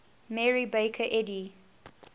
mary baker eddy